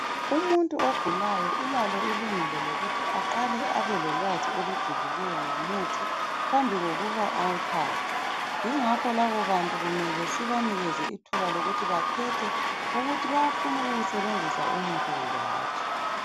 Umuntu ogulayo ulalo ilungelo loluthi aqale abelolwazi olujulileyo ngomuthi phambi kokuba awuthathe yingakho labobantu kumele sibanikeze ithuba lokuthi bakhethe ukuthi bayafuna ukuwusebenzisa umuthi kumbe hatshi